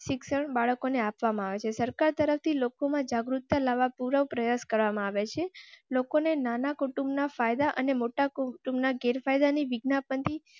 શિક્ષણ બાળકો ને આપવામાં આવે છે. સરકાર તરફથી લોકો માં જાગૃતતા લાવવા પૂરો પ્રયાસ કરવામાં આવે છે. લોકોને નાના કુટુંબના ફાયદા અને મોટા કુમ ના ગેરફાયદા ની વિદ્યા પંથી